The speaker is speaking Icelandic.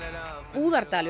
Búðardalur